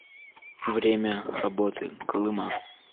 время работы колыма